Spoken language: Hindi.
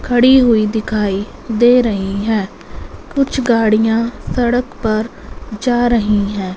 खड़ी हुई दिखाई दे रही हैं कुछ गाड़ियां सड़क पर जा रही हैं।